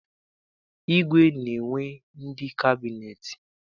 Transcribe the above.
Igwe na-enwe ndị kabịneetị.